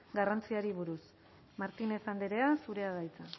garrantziari buruz martínez andrea zurea da hitza